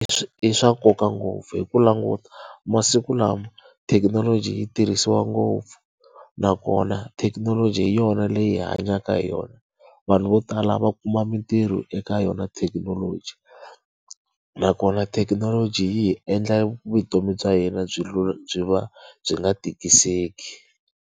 I swa nkoka ngopfu hi ku languta masiku lawa thekinoloji yi tirhisiwa ngopfu, nakona thekinoloji hi yona leyi hi hanyaka hi yona. Vanhu vo tala lava kuma mintirho eka yona thekinoloji. Nakona thekinoloji yi hi endla vutomi bya yena byi byi va byi nga tikiseki.